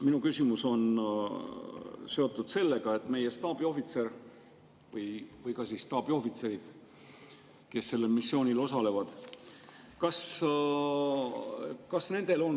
Minu küsimus on seotud meie staabiohvitseri või staabiohvitseridega, kes seal missioonil osalevad.